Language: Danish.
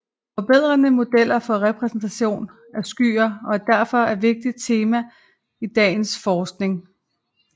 Forbedrede modeller for repræsentation af skyer er derfor et vigtigt tema i dagens forskning